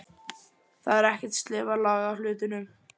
Þar er ekkert sleifarlag á hlutunum.